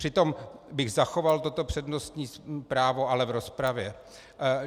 Přitom bych zachoval toto přednostní právo, ale v rozpravě.